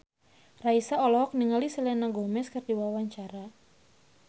Raisa olohok ningali Selena Gomez keur diwawancara